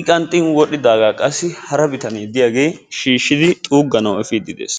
I qaanxxin wodhdhidaaga qassi hara bitane diyagee shiishidi xuugganawu efiidi de'ees.